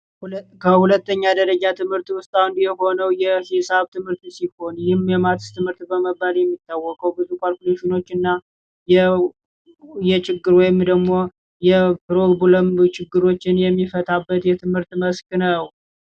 ከሁለተኛ ደረጃ ትምህርት ውስጥ የሆነው የሂሳብ ትምህርት ሲሆን ማትስ በመባል የሚታወቀው ብዙ ካልኩሌሽኖች የችግር ወይም ደግሞ ፕሮብለም ብዙ ችግሮችን የሚፈታበት የትምህርት መስክ ነው።